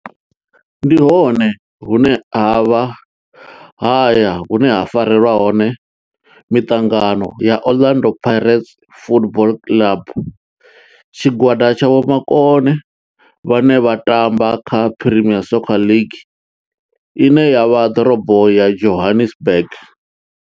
Ndi hone hune havha haya hune ha farelwa hone miṱangano ya Orlando Pirates Football Club. Tshigwada tsha vhomakone vhane vha tamba kha Premier Soccer League ine ya vha ḓorobo ya Johannesburg.